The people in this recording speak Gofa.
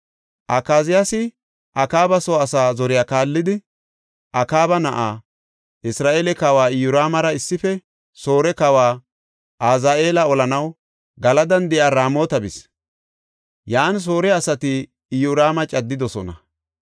Akaziyaasi Akaaba soo asaa zoriya kaallidi, Akaaba na7aa, Isra7eele kawa Iyoraamara issife Soore kawa Azaheela olanaw Galadan de7iya Raamota bis. Yan Soore asati Iyoraama caddidosona.